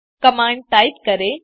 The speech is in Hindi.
कमांड टाइप करें